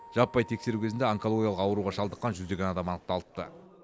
жаппай тексеру кезінде онкологиялық ауруға шалдыққан жүздеген адам анықталыпты